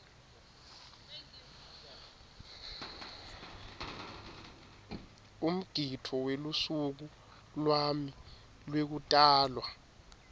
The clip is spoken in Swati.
umgidvo welusuku lwami lwekutalwa